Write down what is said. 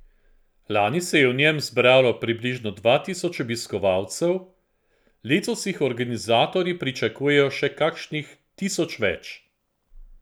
Lani se je v njem zbralo približno dva tisoč obiskovalcev, letos jih organizatorji pričakujejo še kakšnih tisoč več.